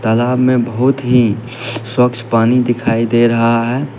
तालाब में बहुत ही सवच्छ पानी दिखाई दे रहा है।